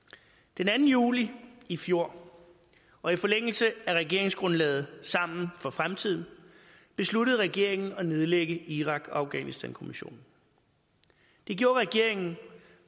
den anden juli i fjor og i forlængelse af regeringsgrundlaget sammen for fremtiden besluttede regeringen at nedlægge irak og afghanistankommissionen det gjorde regeringen